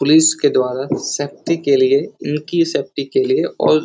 police के द्वारा शक्ति के लिये उनकी शक्ति के लिये और --